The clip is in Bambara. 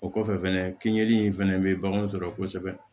O kɔfɛ fɛnɛ kinɲɛ in fɛnɛ bɛ baganw sɔrɔ kosɛbɛ